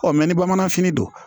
ni bamananfini don